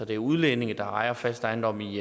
det er udlændinge der ejer fast ejendom i